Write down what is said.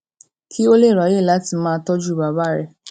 kí ó lè ráyè láti máa tójú bàbá rè